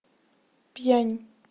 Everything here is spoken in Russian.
пьянь